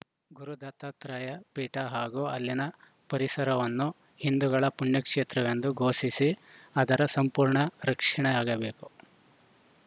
ಗುರು ದತ್ತಾತ್ರೇಯ ಪೀಠ ಹಾಗೂ ಅಲ್ಲಿನ ಪರಿಸರವನ್ನು ಹಿಂದೂಗಳ ಪುಣ್ಯಕ್ಷೇತ್ರವೆಂದು ಘೋಷಿಸಿ ಅದರ ಸಂಪೂರ್ಣ ರಕ್ಷಣೆ ಆಗಬೇಕು